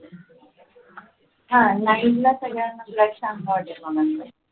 हा night ला सगळ्यांना black चांगला वाटेल?